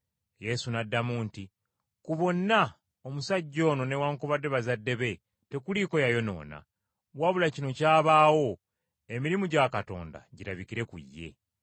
Yesu n’addamu nti, “Ku bonna omusajja ono newaakubadde bazadde be tekuliiko yayonoona, wabula kino kyabaawo emirimu gya Katonda girabikire ku ye.